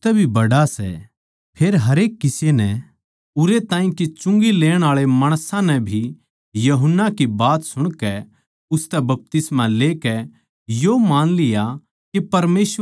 फेर हरेक किसे नै उरै ताहीं के चुंगी लेण आळे माणसां नै भी यूहन्ना की बात सुणकै उसतै बपतिस्मा लेकै यो मान लिया के परमेसवर ए धर्मी सै